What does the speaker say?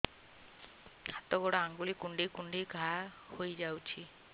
ହାତ ଗୋଡ଼ ଆଂଗୁଳି କୁଂଡେଇ କୁଂଡେଇ ଘାଆ ହୋଇଯାଉଛି